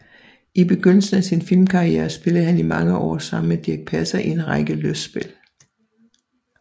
I begyndelsen af sin filmkarriere spillede han i mange år sammen med Dirch Passer i en række lystspil